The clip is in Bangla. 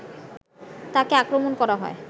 তাঁকে আক্রমণ করা হয়